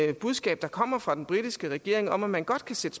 det budskab der kommer fra den britiske regering om at man godt kan sætte